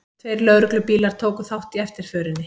Tveir lögreglubílar tóku þátt í eftirförinni